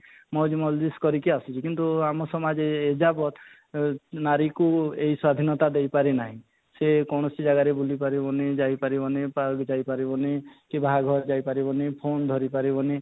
ମଜ ମସଜିଦ କରିକି ଆସୁଛି କିନ୍ତୁ ଆମ ସମାଜ ଏ ଯାବତ ଓଁ ନାରୀକୁ ଏଇ ସ୍ୱାଧୀନତା ଦେଇ ପାରି ନାହିଁ ସେ କୌଣସି ଜାଗାରେ ବୁଲି ପାରିବ ନି ଯାଇ ପାରିବ ନି park ଯାଇ ପାରିବ ନି କି ବାହା ଘର ଯାଇ ପାରିବ ନି phone ଧରି ପାରିବ ନି